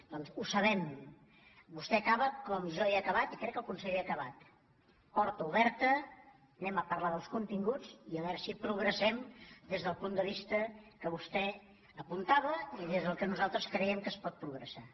doncs ho sabem vostè acaba com jo he acabat i crec que el conseller ha acabat porta oberta parlarem dels continguts i a veure si progressem des del punt de vista que vostè apuntava i des del qual nosaltres creiem que es pot progressar